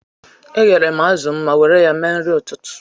Eyere m azụ ma were ya mee nri ụtụtụ.